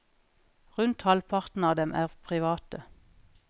Rundt halvparten av dem er private.